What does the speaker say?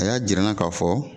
A y'a jir'an na ka fɔ